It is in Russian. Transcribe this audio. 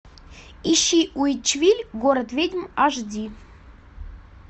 ищи уитчвилль город ведьм аш ди